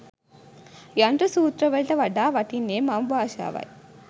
යන්ත්‍ර සූත්‍ර වලට වඩා වටින්නේ මව් භාෂාවයි.